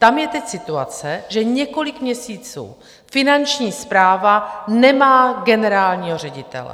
Tam je teď situace, že několik měsíců Finanční správa nemá generálního ředitele.